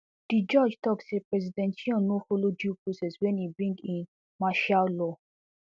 di judge tok say president yoon no follow due process wen e bring in martial law